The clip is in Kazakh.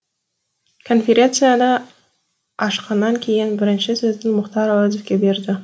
конференцияны ашқаннан кейін бірінші сөзді мұхтар әуезовке берді